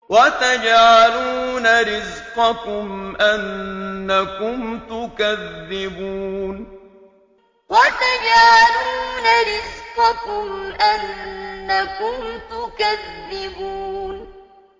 وَتَجْعَلُونَ رِزْقَكُمْ أَنَّكُمْ تُكَذِّبُونَ وَتَجْعَلُونَ رِزْقَكُمْ أَنَّكُمْ تُكَذِّبُونَ